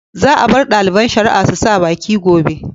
Za a bar ɗaliban shari'a su sa baki gobe.